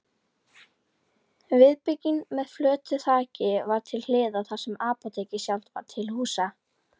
Viðbygging með flötu þaki var til hliðar þar sem apótekið sjálft var til húsa.